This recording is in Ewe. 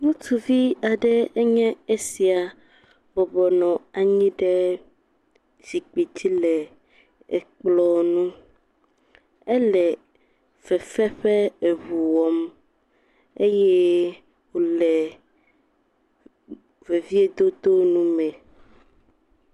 Ŋutsuvi aɖee nye sia bɔbɔ nɔ anyi ɖe zikpui dzi le ekplɔ ŋu. Ele fefe ƒe eŋu wɔm eye wòle veviedodo nu me.